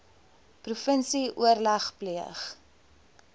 provinsie oorleg pleeg